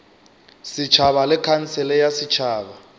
setšhaba le khansele ya setšhaba